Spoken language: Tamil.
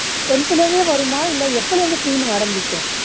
tenth ல இருந்தே வருமா இல்ல எப்போ teen ஆரம்பிக்கும்